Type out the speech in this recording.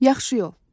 Yaxşı yol.